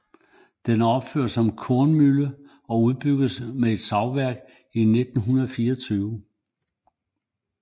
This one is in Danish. Den er opført som kornmølle og udbygget med et savværk i 1924